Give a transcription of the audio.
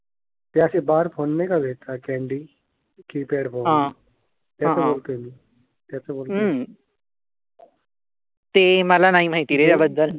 ते मला नाही माहिती रे. या बद्दल.